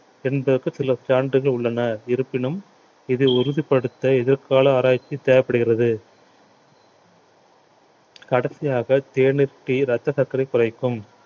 என்பதற்க்கு சில சான்றுகள் உள்ளன இருப்பினும் இதை உறுதிப்படுத்த எதிர்கால ஆராய்ச்சி தேவைப்படுகிறது கடைசியாக தேநீர் tea ரத்த சர்க்கரை குறைக்கும்